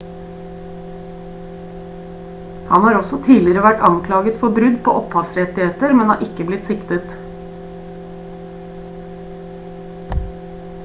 han har også tidligere vært anklaget for brudd på opphavsrettigheter men har ikke blitt siktet